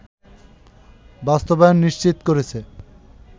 বাস্তবায়ন নিশ্চিত করেছে